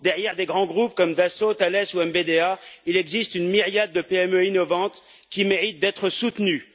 Derrière des grands groupes comme Dassault, Thales ou MBDA, il existe une myriade de PME innovantes qui méritent d'être soutenues.